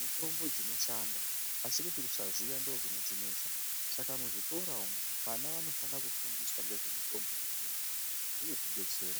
mitombo dzinoshanda asi kuti kusaziya ndiko kunotinesa saka muzvikora umwo vana vanofanira kufundiswa ngezve mutombo dzechinyakare zvinotidetsera.